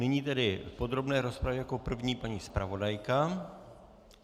Nyní v podrobné rozpravě jako první paní zpravodajka.